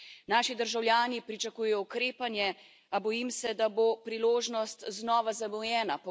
Naši državljani pričakujejo ukrepanje, a bojim se, da bo priložnost znova zamujena.